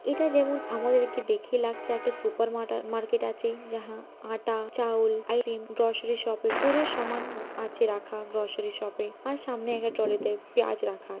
এটা যেমন আমাদেরকে দেখে লাগছে একটা সুপার মার্কেট আছে | যাহা আটা চাওল গ্রসারি শপের পুরো সামান আছে রাখা গ্রসারি | শপে আর সামনে একটা তলিতে পেঁয়াজ রাখা--